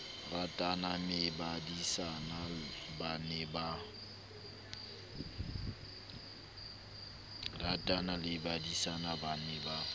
ratane mmebadisana ba ne ba